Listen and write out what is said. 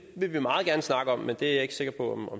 vil vi meget gerne snakke om men det er jeg ikke sikker på